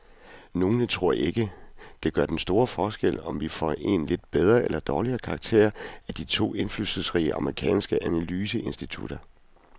Nogle tror ikke, det gør den store forskel, om vi får en lidt bedre eller dårligere karakter af de to indflydelsesrige amerikanske analyseinstitutter.